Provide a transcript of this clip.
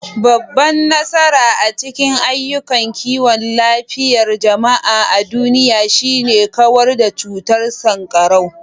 Babban nasara a cikin ayyukan kiwon lafiyar jama'a a duniya shine kawar da cutar sankarau.